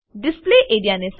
display A R E A